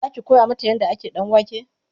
Zaki koya mata yadda ake ɗanwake?